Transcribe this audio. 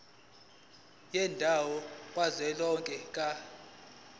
yendawo kazwelonke ka